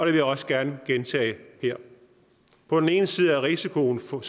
jeg også gerne gentage her på den ene side er risikoen for